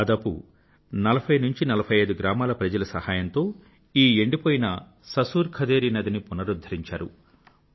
దాదాపు 4045 గ్రామాల ప్రజల సహాయంతో ఈ ఎండిపోయిన ససుర్ ఖదేరీ నదిని పునరుద్ధరించారు